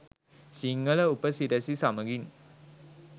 සිංහල උප සිරැසි සමඟින්